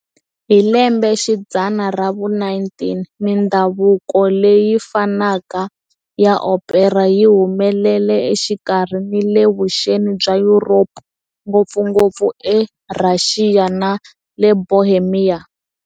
Hi lembexidzana ra vu-19, mindhavuko leyi fanaka ya opera yi humelele exikarhi ni le vuxeni bya Yuropa, ngopfungopfu eRhaxiya ni le Bohemia.